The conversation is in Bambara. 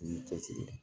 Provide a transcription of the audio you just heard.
Ni cɛsiri ye